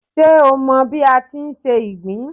Ṣé o mọ bí a ti ń se ìgbín